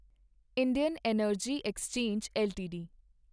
Indian energy exchange LTD